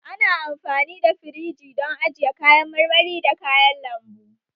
Ana amfani da firiji don ajiye kayan marmari da kayan lambu